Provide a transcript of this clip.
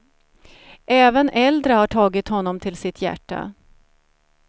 Även äldre har tagit honom till sitt hjärta.